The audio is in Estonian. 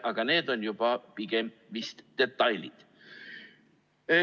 Aga need on juba pigem vist detailid.